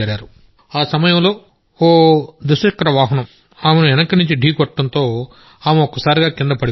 ఆ సమయంలో ఓ ద్విచక్రవాహనం ఆమెను వెనుక నుంచి ఢీకొనడంతో ఆమె ఒక్కసారిగా కిందపడిపోయింది